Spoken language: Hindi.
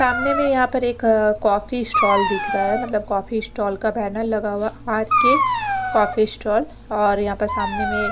सामने में यहाँ पर एक कॉफ़ी स्ट्राल दिख रहा है मतलब कॉफ़ी स्टाल का पैनल लगा हुआ आर_ के कॉफ़ी स्ट्राल और यहाँ पर सामने में --